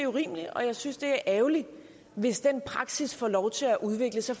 urimeligt og jeg synes det er ærgerligt hvis den praksis får lov til at udvikle sig